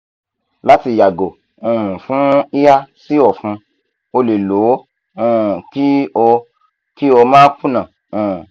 lati yago um fun hiha si ọfun o le lo o um ki o ki o ma kunna um